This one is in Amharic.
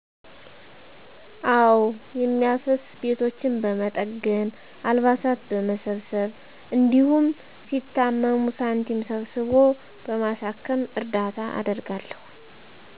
አወ። የሚያፈስ ቤቶችን በመጠገን፣ አልባሳት በመሰብሰብ፣ እንዲሁም ሲታመሙ ሳንቲም ሰብስቦ በማሳከም እርዳታ አደርጋለሁ።